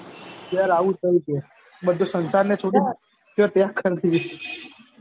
યાર આવું થતું છું બધે સંસાર ને છોડી ને તે